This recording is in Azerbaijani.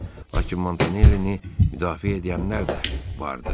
Lakin Montanellini müdafiə edənlər də vardı.